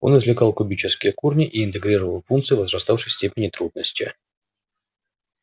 он извлекал кубические корни и интегрировал функции возраставшей степени трудности